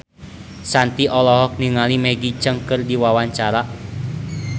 Shanti olohok ningali Maggie Cheung keur diwawancara